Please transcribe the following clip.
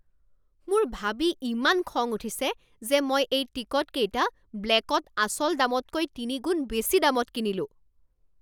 মোৰ ভাবি ইমান খং উঠিছে যে মই এই টিকটকেইটা ব্লেকত আচল দামতকৈ তিনিগুণ বেছি দামত কিনিলোঁ